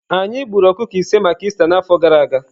Anyị gburu ọkụkọ ise maka Ista n'afọ gara aga.